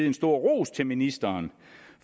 en stor ros til ministeren